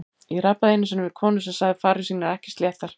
Ég rabbaði einu sinni við konu sem sagði farir sínar ekki sléttar.